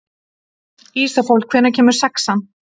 Ísafold, hvenær kemur sexan?